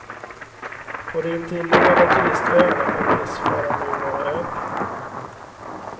På de intilliggande turistöarna uppges faran nu vara över.